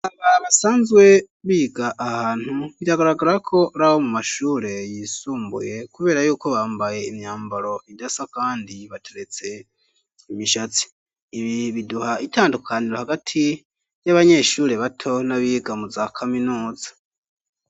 Basanzwe biga ahantu iragaragara ko ari abo mu mashure yisumbuye kubera yuko bambaye imyambaro indasa kandi bateretse imishatsi ibi biduha itandukaniro hagati ry'abanyeshure bato n'abiga mu za kaminuza.